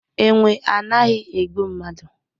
Enwe anaghi egbu mmadu